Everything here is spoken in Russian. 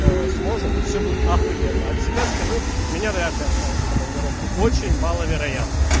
сможем всё будет ахуенно от себя скажу меня вряд ли отправить в командировку очень мало вероятно